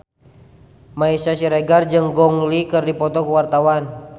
Meisya Siregar jeung Gong Li keur dipoto ku wartawan